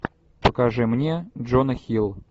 покажи мне джона хилл